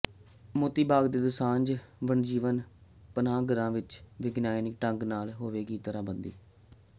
ਮੋਤੀ ਬਾਗ ਤੇ ਦੁਸਾਂਝ ਵਣਜੀਵ ਪਨਾਹਗਾਹਾਂ ਦੀ ਵਿਗਿਆਨਿਕ ਢੰਗ ਨਾਲ ਹੋਵੇਗੀ ਤਾਰਬੰਦੀ